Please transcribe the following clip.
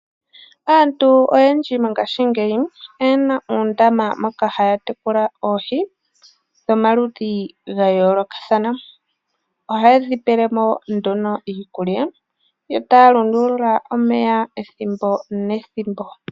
Aantu oyendji mongaashingeyi oye na uundama moka haya tekula oohi dhomaludhi gayoolokathana. Ohaye dhi pele mo nduno iikulya, etaya lunduluka omeya ethimbo nethimbo.